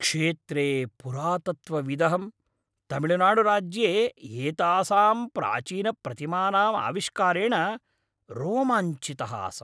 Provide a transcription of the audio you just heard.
क्षेत्रे पुरातत्त्वविदहं, तमिळनाडुराज्ये एतासां प्राचीनप्रतिमानाम् आविष्कारेण रोमाञ्चितः आसम्।